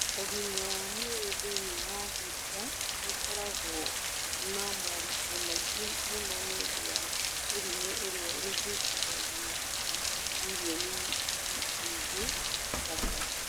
Ũgima wa mwĩrĩ thĩinĩ wa Afrika nĩ ũkoragwo na moritũ maingĩ mũno nĩ ũndũ wa mĩrimũ ĩrĩa ĩhĩtithagia andũ milioni nyingĩ o mwaka.